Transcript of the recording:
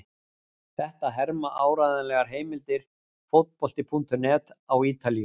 Þetta herma áreiðanlegar heimildir Fótbolti.net á Ítalíu.